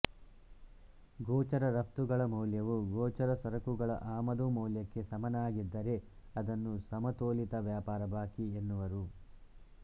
ಗೋಚರ ರಪ್ತುಗಳ ಮೌಲ್ಯವು ಗೋಚರ ಸರಕುಗಳ ಆಮದು ಮೌಲ್ಯಕ್ಕೆ ಸಮನಾಗಿದ್ದರೆ ಅದನ್ನು ಸಮತೋಲಿತ ವ್ಯಾಪಾರ ಬಾಕಿ ಎನ್ನುವರು